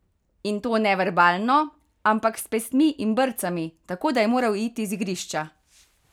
In to ne verbalno, ampak s pestmi in brcami, tako da je moral uiti z igrišča.